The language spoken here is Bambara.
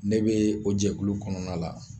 Ne bee o jɛkulu kɔnɔna la.